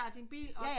Din bil og